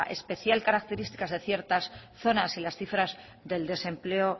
especial característica de ciertas zonas y las cifras del desempleo